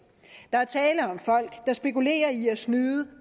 der er tale om folk der spekulerer i at snyde